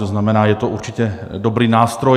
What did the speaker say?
To znamená, je to určitě dobrý nástroj.